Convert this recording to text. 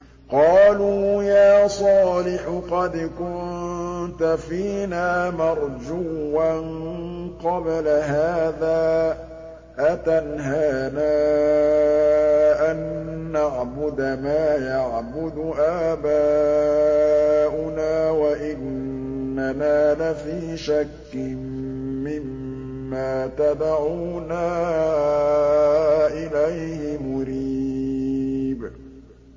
قَالُوا يَا صَالِحُ قَدْ كُنتَ فِينَا مَرْجُوًّا قَبْلَ هَٰذَا ۖ أَتَنْهَانَا أَن نَّعْبُدَ مَا يَعْبُدُ آبَاؤُنَا وَإِنَّنَا لَفِي شَكٍّ مِّمَّا تَدْعُونَا إِلَيْهِ مُرِيبٍ